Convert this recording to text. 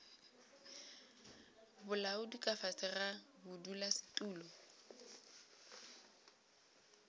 bolaodi ka fase ga bodulasetulo